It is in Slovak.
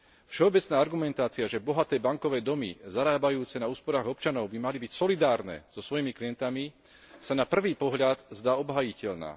Všeobecná argumentácia, že bohaté bankové domy zarábajúce na úsporách občanov by mali byť solidárne so svojimi klientmi, sa na prvý pohľad zdá byť obhájiteľná.